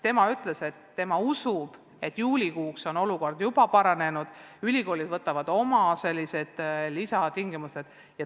Isa ütles, et tema usub, et juulikuuks on olukord juba paranenud ja ülikoolid võtavad üliõpilasi vastu lisatingimustel.